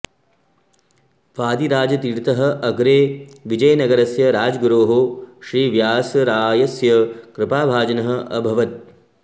वादिराजतीर्थः अग्रे विजयनगरस्य राजगुरोः श्री व्यासरायस्य कृपाभाजनः अभवत्